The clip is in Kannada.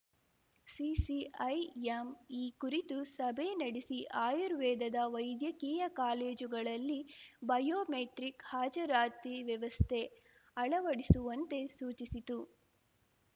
ಸಿಸಿಐಎಂ ಈ ಕುರಿತು ಸಭೆ ನಡೆಸಿ ಆಯುರ್ವೇದದ ವೈದ್ಯಕೀಯ ಕಾಲೇಜುಗಳಲ್ಲಿ ಬಯೋಮೆಟ್ರಿಕ್ ಹಾಜರಾತಿ ವ್ಯವಸ್ಥೆ ಅಳವಡಿಸುವಂತೆ ಸೂಚಿಸಿತು